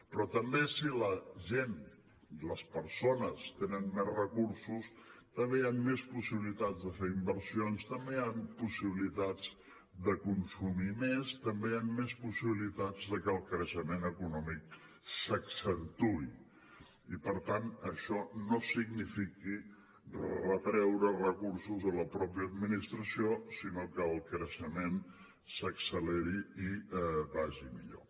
però també si la gent les persones tenen més recursos també hi han més possibilitats de fer inversions també hi han possibilitats de consumir més també hi han més possibilitats de que el creixement econòmic s’accentuï i per tant això no signifiqui retreure recursos a la mateixa administració sinó que el creixement s’acceleri i vagi millor